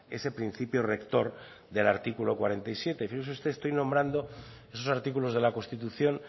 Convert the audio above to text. ese principio rector del artículo cuarenta y siete fíjese usted estoy nombrando esos artículos de la constitución